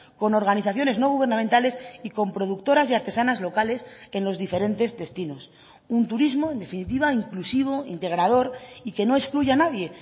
con organizaciones no gubernamentales y con productoras y artesanas locales en los diferentes destinos un turismo en definitiva inclusivo integrador y que no excluya a nadie